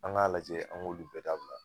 An k'a lajɛ an k'olu bɛɛ dabila